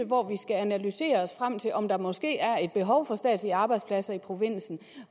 hvor vi skal analysere os frem til om der måske er et behov for statslige arbejdspladser i provinsen